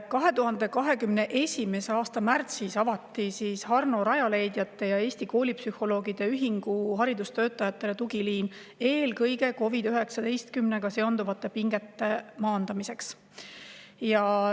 2021. aasta märtsis avati Harno rajaleidjate ja Eesti Koolipsühholoogide Ühingu haridustöötajatele tugiliin eelkõige COVID-19-ga seonduvate pingete maandamiseks.